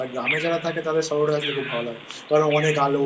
আর গ্রামে যারা থাকে তাদের শহরে আসলে খুব ভালো লাগে